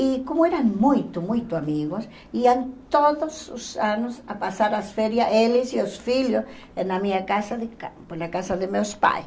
E como eram muito, muito amigos, iam todos os anos a passar as férias, eles e os filhos, na minha casa de campo, na casa de meus pais.